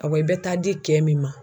Awɔ i bɛ taa di cɛ min ma